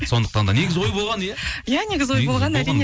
сондықтан да негізі ой болған иә иә негізі ой болған әрине